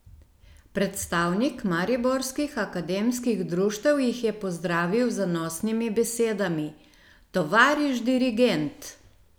Predstavnik mariborskih akademskih društev jih je pozdravil z zanosnimi besedami: "Tovariš dirigent!